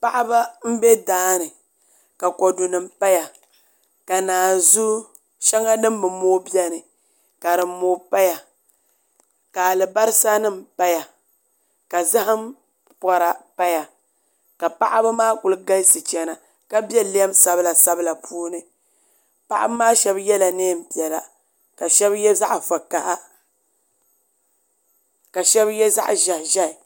Paɣaba n bɛ daani ka kodu nim paya ka naanzu shɛŋa din bi mooi biɛni ka din mooi paya ka alibarisa nim paya ka zaham pora paya ka paɣaba maa ku galisi chɛna ka biɛ lɛm sabila sabila puuni paɣaba shab yɛla neen piɛla ka shab yɛ zaɣ vakaɣa ka shab yɛ zaɣ ʒiɛhi ʒiɛhi